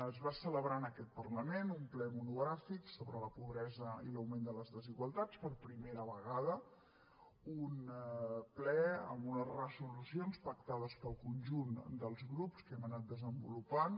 es va celebrar en aquest parlament un ple monogràfic sobre la pobresa i l’augment de les desigualtats per primera vegada un ple amb unes resolucions pactades pel conjunt dels grups que hem anat desenvolupant